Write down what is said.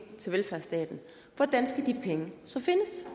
til velfærdsstaten hvordan skal de penge så findes